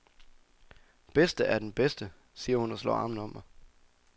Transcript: Bedste er den bedste, siger hun og slår armene om mig.